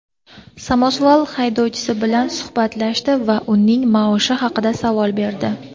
samosval haydovchisi bilan suhbatlashdi va uning maoshi haqida savol berdi.